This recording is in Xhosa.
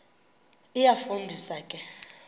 iyafu ndisa ke